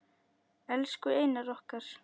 Elsku Einar okkar.